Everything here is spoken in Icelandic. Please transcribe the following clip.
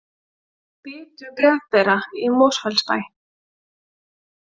Bitu bréfbera í Mosfellsbæ